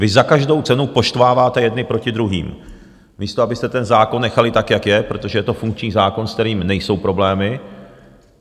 Vy za každou cenu poštváváte jedny proti druhým, místo abyste ten zákon nechali tak, jak je, protože je to funkční zákon, se kterým nejsou problémy.